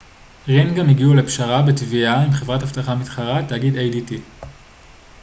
ring גם הגיעו לפשרה בתביעה עם חברת אבטחה מתחרה תאגיד adt